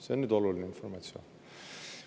See on oluline informatsioon.